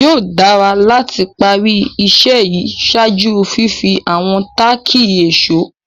Yóò dàrà láti pá rí iṣẹ̀ yí ṣáàjú fífì àwọn tàkí èṣọ̀.